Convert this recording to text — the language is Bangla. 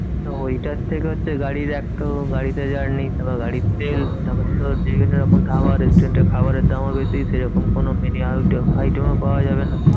তো ওইটার থেকে হচ্ছে গাড়ির এক তো গাড়িতে journey, তারপর গাড়ির তেল, তারপর তোর বিভিন্ন রকম খাবার restaurant এর খাবারের দামও বেশি, সেরকম কোনো mini item ও পাওয়া যাবে না।